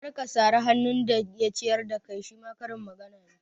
Kar ka sari hannun da ya ciyar da kai shima karin magana ne